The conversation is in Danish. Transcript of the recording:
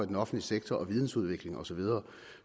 den offentlige sektor og videnudvikling osv